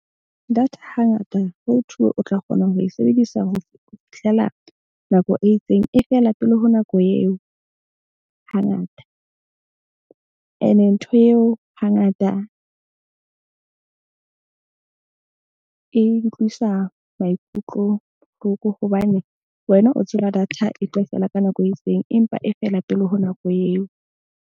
Data hangata ho o tla kgona ho e sebedisa ho fihlela nako e itseng e fela pele ho nako eo hangata, ene ntho eo hangata e utlwisa maikutlo bohloko hobane wena o tseba data e tlo fela ka nako e itseng, empa e fela pele ho nako eo.